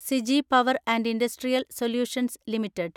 Siji power and industrial solutions limited